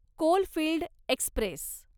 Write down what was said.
coalfield Express